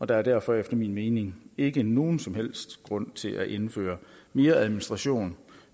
der er derfor efter min mening ikke nogen som helst grund til at indføre mere administration